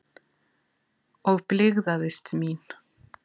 Og blygðaðist mín.